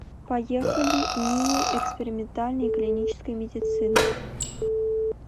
поехали нии экспериментальной и клинической медицины